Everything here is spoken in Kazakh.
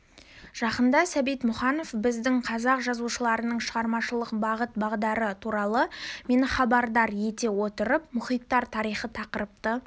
жақында сәбит мұқанов біздің қазақ жазушыларының шығармашылық бағыт-бағдары туралы мені хабардар ете отырып мұхтар тарихи тақырыпты